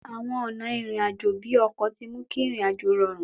Àwọn ọ̀nà ìrìn àjò bíi ọkọ̀ tí mú kí ìrìn àjò rọrùn